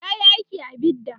yayi aiki a bidda